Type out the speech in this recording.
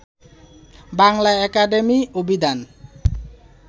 Bangla academy অভিধান